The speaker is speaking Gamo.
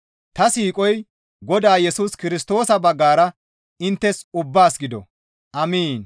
Ta siiqoy Godaa Yesus Kirstoosa baggara inttes ubbaas gido! Amiin.